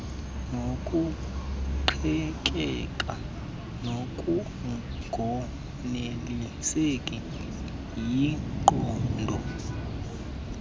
nokuqhekeka nokungoneliseki yingqondo